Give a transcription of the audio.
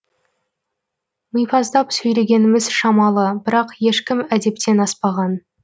мипаздап сөйлегеніміз шамалы бірақ ешкім әдептен аспаған